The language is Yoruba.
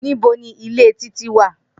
Nibo ni ile Titi wa?